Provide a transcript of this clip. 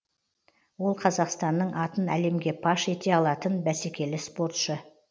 ол қазақстанның атын әлемге паш ете алатын бәсекелі спортшы